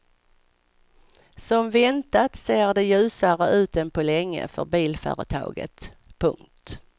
Som väntat ser det ljusare ut än på länge för bilföretaget. punkt